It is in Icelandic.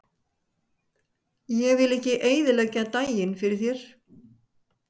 Ég vil ekki eyðileggja daginn fyrir þér.